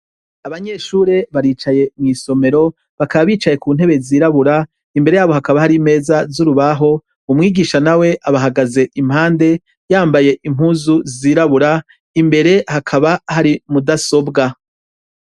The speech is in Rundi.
Abanyeshure baricaye mw' isomero, bakaba bicaye ku ntebe zirabura , imbere yabo hakaba hari imeza z' urubaho, umwigisha nawe abahagaze impande , yambaye impuzu zirabura, imbere hakaba hari mudasobwa.